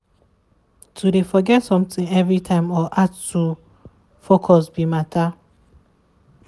to de forget something every time or hard to focus be matter.